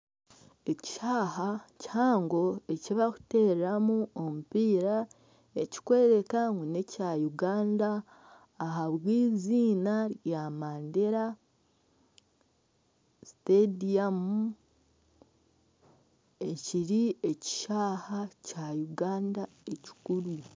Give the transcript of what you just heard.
Ekishaayi kihango eki barikutereramu omupiira ekikworeka ngu n'ekya Uganda ahabw'eiziina rya MANDERA STADIUM ekiri ekishaayi kya Uganda ekikuru.